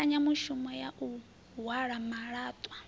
mbekanyamushumo ya u halwa malaṱwa